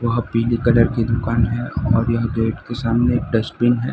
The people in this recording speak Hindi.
वहां पीले कलर की दुकान है और यह गेट के सामने डस्टबिन है।